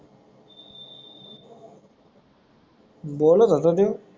बोलत होता तो